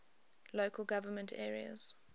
local government areas